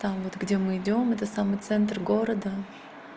там вот где мы идём это самый центр города